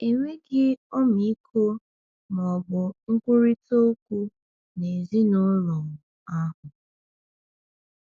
Enweghị ọmịiko ma ọ bụ nkwurịta okwu n’ezinụlọ ahụ.